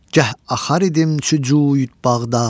Gəh axar idim çü cüyü bağda.